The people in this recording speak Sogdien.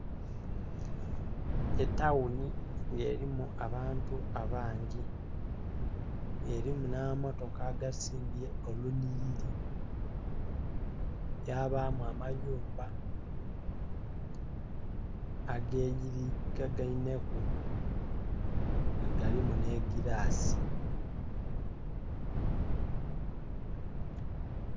Etaghuni nga erimu abantu abangi nga erimu nha mamotoka agasimbye olunhiriri, ya bamu amayumba ageyirika gainheku nga galimu nhe gilasi